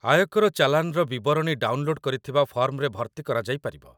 ଆୟକର ଚାଲାନ୍‌ର ବିବରଣୀ ଡାଉନଲୋଡ୍ କରିଥିବା ଫର୍ମରେ ଭର୍ତ୍ତି କରାଯାଇପାରିବ